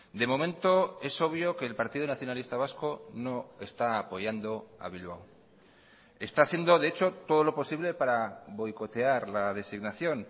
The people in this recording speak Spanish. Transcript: de momento es obvio que el partido nacionalista vasco no está apoyando a bilbao está haciendo de hecho todo lo posible para boicotear la designación